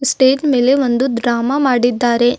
Stage ಮೇಲೆ ಒಂದು drama ಮಾಡಿದ್ದಾರೆ.